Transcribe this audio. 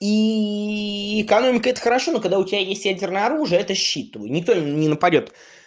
и экономика это хорошо но когда у тебя есть ядерное оружие это щит твой никто не нападёт